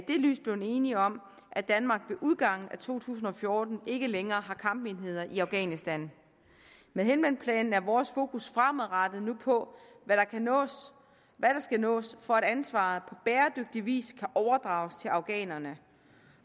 det lys blevet enige om at danmark ved udgangen af to tusind og fjorten ikke længere har kampenheder i afghanistan med helmandplanen er vores fokus fremadrettet nu på hvad der skal nås for at ansvaret på bæredygtig vis kan overdrages til afghanerne